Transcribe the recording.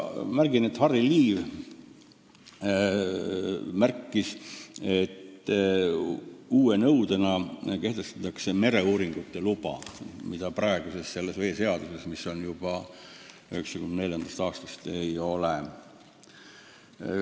Märgin vaid, et Harry Liiv toonitas, et uue nõudena kehtestatakse mereuuringute luba, mida praeguses veeseaduses, mis kehtib juba 1994. aastast, ei ole.